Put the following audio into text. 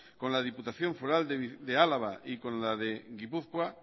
con la diputación foral de álava y con la de gipuzkoa